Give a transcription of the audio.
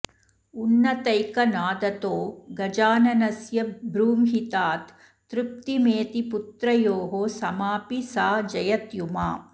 उन्नतैकनादतो गजाननस्य बॄंहितात् तृप्तिमेति पुत्रयोः समापि सा जयत्युमा